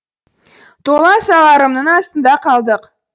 тола сала ырымның астында қалдық